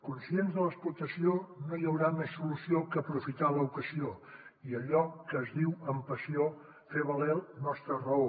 conscients de l’explotació no hi haurà més solució que aprofitar l’ocasió i allò que es diu amb passió fer valer la nostra raó